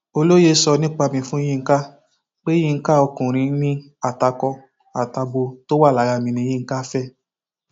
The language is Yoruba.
olóye sọ nípa mi fún yinka pé yinka ọkùnrin ni àtakò àtàbọ tó wà lára mi ní yinka fẹ